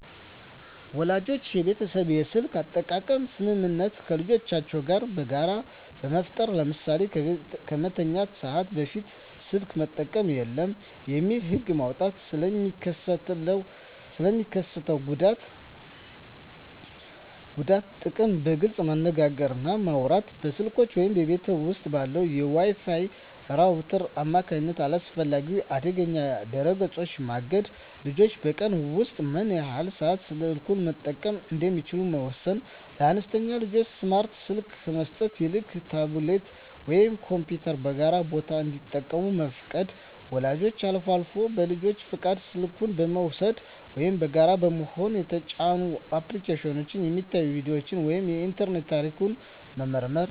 ወላጆች የቤተሰብ የስልክ አጠቃቀም ስምምነት ከልጆቻቸው ጋር በጋራ መፍጠር። ለምሳሌ "ከመተኛት ሰዓት በፊት ስልክ መጠቀም የለም" የሚል ህግ መውጣት። ስለ ሚስከትለው ጉዳት እና ጥቅም በግልፅ መነጋገር እና ማውራት። በስልኮች ወይም በቤት ውስጥ ባለው የWi-Fi ራውተር አማካኝነት አላስፈላጊ ወይም አደገኛ ድረ-ገጾችን ማገድ። ልጆች በቀን ውስጥ ምን ያህል ሰዓት ስልኩን መጠቀም እንደሚችሉ መወሰን። ለአነስተኛ ልጆች ስማርት ስልክ ከመስጠት ይልቅ ታብሌት ወይም ኮምፒውተርን በጋራ ቦታ እንዲጠቀሙ መፍቀድ። ወላጆች አልፎ አልፎ በልጁ ፈቃድ ስልኩን በመውሰድ (ወይም በጋራ በመሆን) የተጫኑ አፕሊኬሽኖች፣ የሚታዩ ቪዲዮዎች ወይም የኢንተርኔት ታሪክ መመርመር።